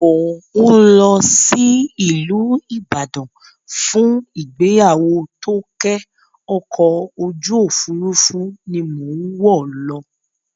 Mò ń lọ sí ìlú Ibadan fún ìgbéyàwó Tóké, ọkọ̀ ojú òfurufú ni mò ń wọ̀ lọ